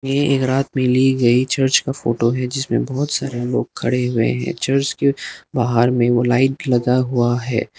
ये एक रात में ली गई चर्च का फोटो है जिसमें बहुत सारे लोग खड़े हुए हैं चर्च के बाहर में वो लाइट लगा हुआ है।